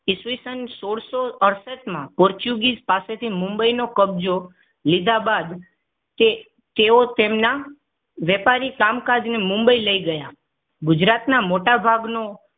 ઈસવીસન સોળસો અડસઠમાં પોર્ટુગીઝ પાસેથી મુંબઈ નો કબજો લીધા બાદ તેઓ તેમનાં વેપારી કામ કાજને મુંબઈ લઈ ગયા. ગુજરાતના મોટાભાગનો